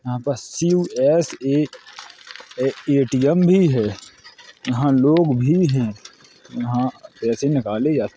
यहाँ पर ए.टी.एम. भी है| यहाँ लोग भी हैं| यहाँ पैसे निकाले जाते--